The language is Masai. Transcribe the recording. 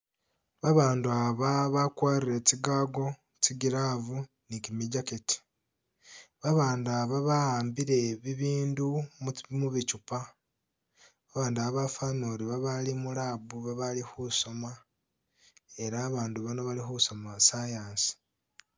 Abandu aba bagwarile tsi gago tsi'glove ni gimi jacket babandu aba bahambile ibindu mubichupa abandu ba bafanile uri babali mu labu babali khusoma ela babandu bano bakhusoma science.